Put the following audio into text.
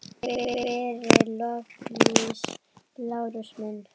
Takk fyrir doblið, Lárus minn